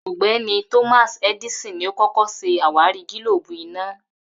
Ò̩gbé̩ni Thomas Edison ni ó kó̩kó̩ s̩e àwárí gílóòbù iná